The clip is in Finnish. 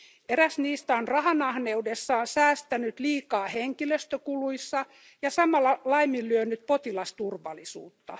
Eräs niistä on rahanahneudessaan säästänyt liikaa henkilöstökuluissa ja samalla laiminlyönyt potilasturvallisuutta.